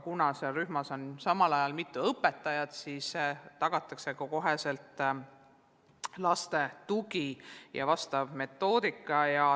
Kuna rühmas on samal ajal mitu õpetajat, siis tagatakse kohe lastele vajalik tugi ja vastav metoodika.